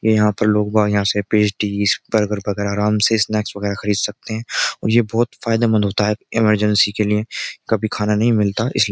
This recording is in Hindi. ये यहां पर लोग यहां से पेस्टडीस बर्गर वगैरह आराम से स्नैक्स वगैरह खरीद सकते हैं और ये बहुत फायदेमंद होता है इमरजेंसी के लिए कभी खाना नहीं मिलता इसलिए --